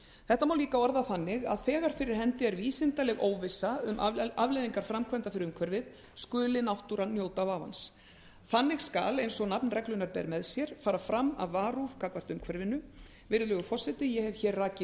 þetta má líka orða þannig að þegar fyrir hendi er vísindaleg óvissa um afleiðingar framkvæmda fyrir umhverfið skuli náttúran njóta vafans þannig skal eins og nafn reglunnar ber með sér fara fram af varúð gagnvart umhverfinu virðulegur forseti ég hef hér rakið